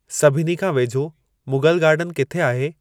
सभिनी खां वेझो मुगलु गार्डनु किथे आहे